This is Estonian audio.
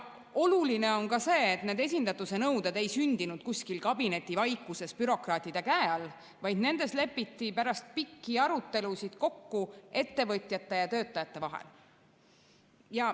Oluline on ka see, et need esindatuse nõuded ei sündinud kuskil kabinetivaikuses bürokraatide käe all, vaid nendes lepiti pärast pikki arutelusid kokku ettevõtjate ja töötajate vahel.